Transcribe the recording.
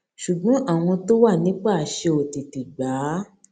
ṣùgbọn àwọn tó wà nípò àṣẹ ò tètè gbà á